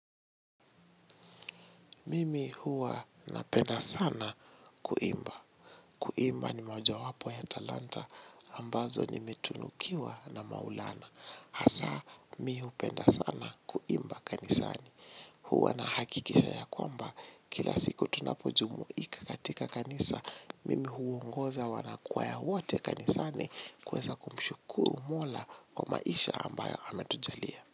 Mimi huwa napenda sana kuimba. Kuimba ni mojawapo ya talanta ambazo nimetunukiwa na Maulana. Hasa mi upenda sana kuimba kanisani. Huwa na hakikisha ya kwamba kila siku tunapojumuika katika kanisa, mimi huongoza wana kwaya wote kanisani kuweza kumshukuru mola kwa maisha ambayo ametujalia.